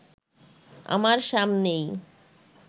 আমার সামনেই